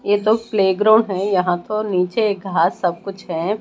ये तो प्लेग्राउंड है। यहां तो नीचे एक घास सब कुछ है।